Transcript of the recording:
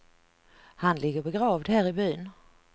Han ligger begravd här i byn.